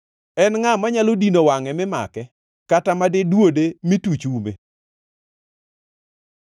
En ngʼa manyalo dino wangʼe mi make, kata madi duode mi tuch ume?